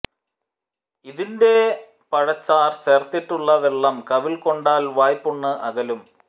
ഇതിൻറെ പഴച്ചാർ ചേർത്തിട്ടുള്ള വെള്ളം കവിൾ കൊണ്ടാൽ വായ്പുണ്ണ് അകലും